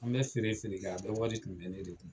An bɛ feere feere kɛ ,a bɛɛ wari tun bɛ ne de kun.